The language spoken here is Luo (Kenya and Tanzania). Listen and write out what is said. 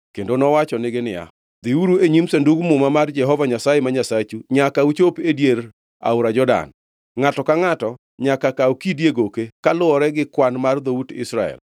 kendo nowachonegi niya, “Dhiuru e nyim Sandug Muma mar Jehova Nyasaye ma Nyasachu nyaka uchop e dier aora Jordan. Ngʼato ka ngʼato nyaka kaw kidi e goke, kaluwore gi kwan mar dhout Israel,